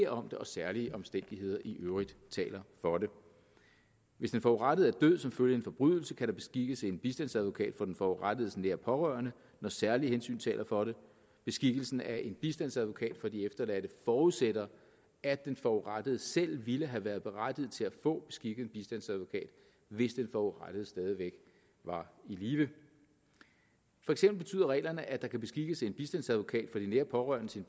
om det og særlige omstændigheder i øvrigt taler for det hvis den forurettede er død som følge af en forbrydelse kan der beskikkes en bistandsadvokat for den forurettedes nære pårørende når særlige hensyn taler for det beskikkelsen af en bistandsadvokat for de efterladte forudsætter at den forurettede selv ville have været berettiget til at få beskikket en bistandsadvokat hvis den forurettede stadig væk var i live for eksempel betyder reglerne at der kan beskikkes en bistandsadvokat for de nære pårørende til